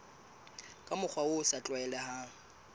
ka mokgwa o sa tlwaelehang